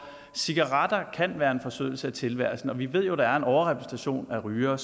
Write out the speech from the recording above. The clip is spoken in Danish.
cigaretter kan være en forsødelse af tilværelsen og vi ved jo at der en overrepræsentation af rygere